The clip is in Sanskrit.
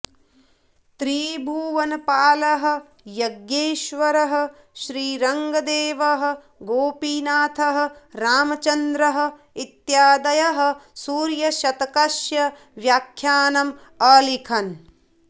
त्रिभुवनपालः यज्ञेश्वरः श्रीरङ्गदेवः गोपीनाथः रामचन्द्रः इत्यादयः सूर्यशतकस्य व्याख्यानम् अलिखन्